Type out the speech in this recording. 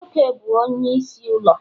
Nwoke bu Onye n'isi ulo